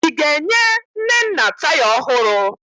Ị ga-enye Nnenna taya ọhụrụ?